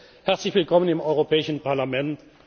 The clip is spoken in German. Majestät, herzlich willkommen im Europäischen Parlament.